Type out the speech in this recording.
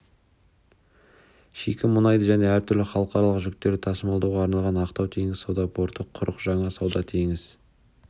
шикі мұнайды және әртүрлі халықаралық жүктерді тасымалдауға арналған ақтау теңіз-сауда порты құрық жаңа сауда теңіз